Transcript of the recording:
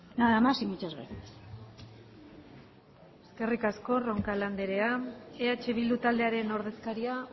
nada más y muchas gracias eskerrik asko roncal anderea eh bildu taldearen ordezkaria